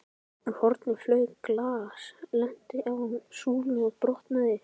Úr horni flaug glas, lenti á súlu og brotnaði.